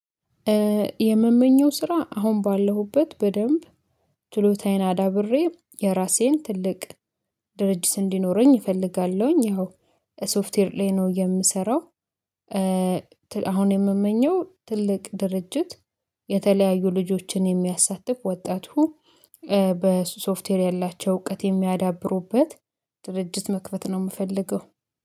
የምመኘው ስራ አሁን ባለሁበት በደንብ ችሎታዬን አዳብሬ የራሴን ትልቅ ድርጅት እንዲኖረኝ እፈልጋለሁኝ። ያው ሶፍትዌር ላይ ነው የምሰራው። አሁን የምመኘው ትልቅ ድርጅት የተለያዩ ልጆችን የሚያሳትፍ ወጣጡ በሶፍትዌር ያላቸው እውቀት የሚያዳብሩበት ድርጅት መክፈት ነው የምፈልገው።